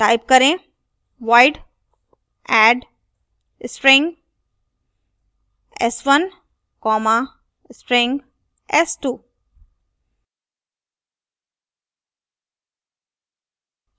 type करें void add string s1 comma string s2